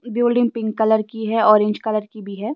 की building pink colour की हैऑरेंज कलर की भी है।